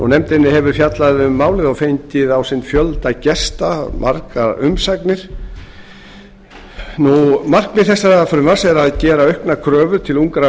nefndin hefur fjallað um málið á fengið á sinn fund fjölda gesta og margar umsagnir markmið þessa frumvarps er að gera auknar kröfur til ungra